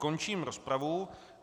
Končím rozpravu.